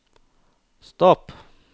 stopp